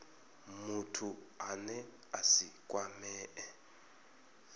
muthu ane a si kwamee